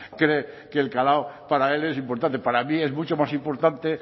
cree que el calado para él es importante para mí es mucho más importante